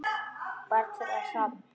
Barn þeirra: Hrafn.